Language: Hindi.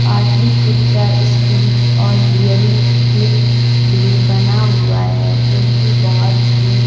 पाटलिपुत्रा स्पीच और हियरिंग क्लिक भी बना हुआ है जोकि बहोत ही--